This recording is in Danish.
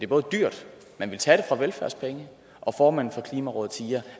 både dyrt man vil tage det fra velfærdspengene og formanden for klimarådet siger